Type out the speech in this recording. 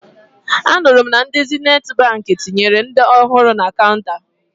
Anụrụ m na ndị Zenithi Baankị tinyere ndị ọhụrụ na kaụnta